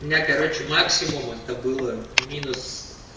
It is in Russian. у меня короче максимум это было минус